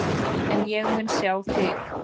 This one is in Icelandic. En ég mun sjá þig.